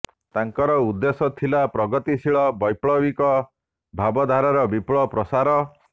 ତାଙ୍କର ଉଦ୍ଦେଶ୍ୟ ଥିଲା ପ୍ରଗତିଶୀଳ ବୈପ୍ଳବିକ ଭାବଧାରାର ବିପୁଳ ପ୍ରସାର